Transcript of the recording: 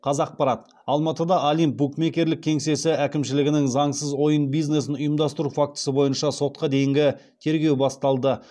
қазақпарат алматыда олимп букмекерлік кеңсесі әкімшілігінің заңсыз ойын бизнесін ұйымдастыру фактісі бойынша сотқа дейінгі тергеу басталды